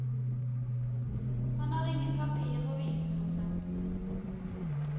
Han har ingen papirer å vise for seg.